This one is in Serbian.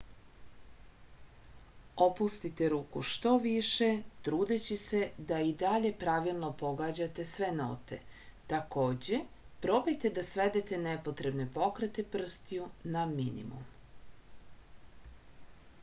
opustite ruku što više trudeći se da i dalje pravilno pogađate sve note takođe probajte da svedete nepotrebne pokrete prstiju na minimum